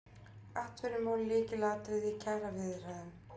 Atvinnumál lykilatriði í kjaraviðræðum